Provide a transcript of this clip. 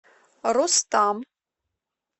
рустам